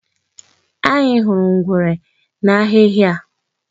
Anyị hụrụ ngwere n'ahịhị a.